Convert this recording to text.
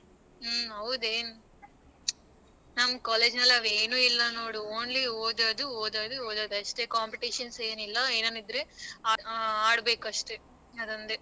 ಹ್ಮ ಹೌದು ಏನ್ ನಮ್ college ಅಲ್ಲಿ ಅವೇನು ಇಲ್ಲ ನೋಡು only ಓದದು ಓದದು ಓದದ ಅಷ್ಟೆ competition ಏನಿಲ್ಲ ಎನಾನು ಇದ್ರೆ ಆಡಬೇಕು ಅಷ್ಟೆ ಅದೊಂದೇ.